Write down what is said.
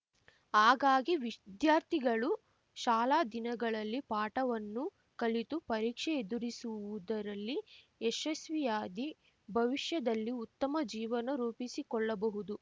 ಹಾಗಾಗಿ ವಿದ್ಯಾರ್ಥಿಗಳು ಶಾಲಾ ದಿನಗಳಲ್ಲಿ ಪಾಠವನ್ನು ಕಲಿತು ಪರೀಕ್ಷೆ ಎದುರಿಸುವುದರಲ್ಲಿ ಯಶಸ್ವಿಯಾದಿ ಭವಿಷ್ಯದಲ್ಲಿ ಉತ್ತಮ ಜೀವನ ರೂಪಿಸಿಕೊಳ್ಳಬಹುದು